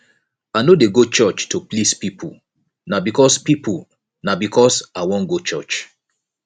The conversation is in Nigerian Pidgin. i no dey go church to please pipo na because pipo na because i wan go church